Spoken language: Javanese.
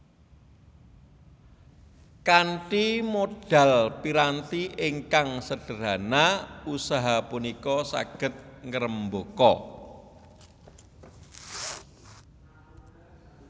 Kanthi modal piranti ingkang sederhana usaha punika saged ngrembaka